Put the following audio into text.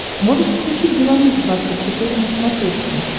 можешь включить беларусь двадцать четыре на смотрешке